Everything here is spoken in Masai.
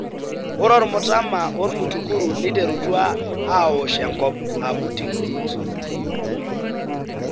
Ore ormutama ormutukuru neiterutua aawosh enkop ( booting stage)